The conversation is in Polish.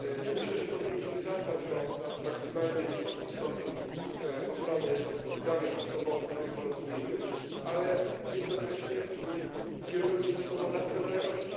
Myślę, że powinniśmy zadbać o maksymalnie wysoki stopień ochrony danych osobowych w tym porozumieniu, ale jednocześnie kierując się zasadą racjonalności.